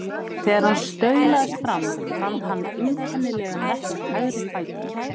Þegar hann staulaðist fram úr fann hann einkennilegan verk í hægri fætinum.